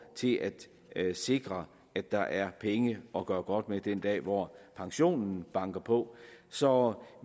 til at sikre at der er penge at gøre godt med den dag hvor pensionen banker på så